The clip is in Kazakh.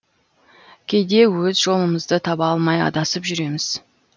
кейде өз жолымызды таба алмай адасып жүреміз